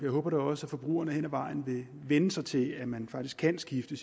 håber da også at forbrugerne hen ad vejen vil vænne sig til at man faktisk kan skifte